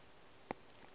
o a šinyalala hm e